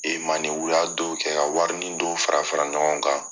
E u y'a dɔw kɛ, ka wari nin don fara fara ɲɔgɔn kan